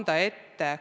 Aitäh!